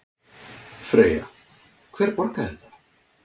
Freyja: Hver borgar það?